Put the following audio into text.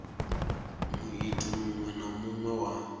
muiti muṅwe na muṅwe wa